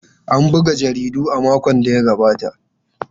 An buga jaridun a makon da ya gabata.